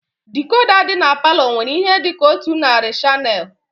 Dikoda dị n'palo nwere ihe dịka otu narị shanel